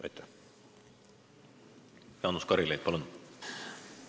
Jaanus Karilaid, palun!